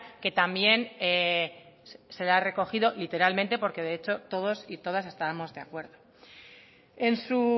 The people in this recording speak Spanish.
que también se la ha recogido literalmente porque de hecho todos y todas estábamos de acuerdo en su